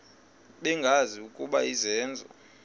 bengazi ukuba izenzo